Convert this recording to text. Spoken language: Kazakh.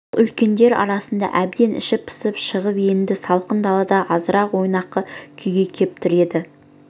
ол үлкендер арасынан әбден іші пысып шығып енді салқын далада азырақ ойнақы күйге кеп тұр еді